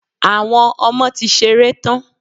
Àwọn ọmọ ti ṣeré tán.